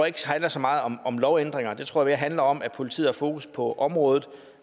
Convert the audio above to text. ikke handler så meget om om lovændringer det tror jeg mere handler om at politiet har fokus på området